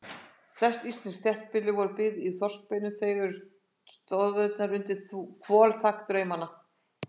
Flest íslensk þéttbýli voru byggð úr þorskbeinum, þau eru stoðirnar undir hvolfþak draumanna.